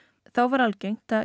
þá var algengt að